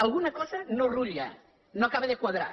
alguna cosa no rutlla no acaba de quadrar